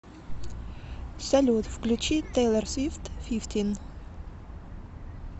салют включи тейлор свифт фифтин